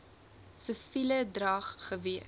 siviele drag gewees